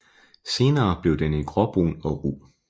Senere bliver den gråbrun og ru